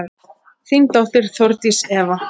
Þín dóttir, Þórdís Eva.